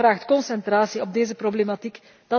Dat vraagt concentratie op deze problematiek.